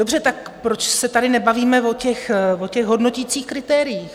Dobře, tak proč se tady nebavíme o těch hodnoticích kritériích?